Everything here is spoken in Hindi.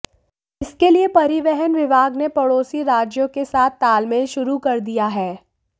इसके लिए परिवहन विभाग ने पड़ोसी राज्यों के साथ तालमेल शुरू कर दिया है